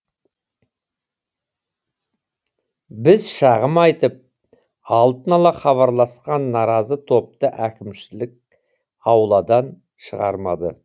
біз шағым айтып алдын ала хабарласқан наразы топты әкімшілік ауладан шығармады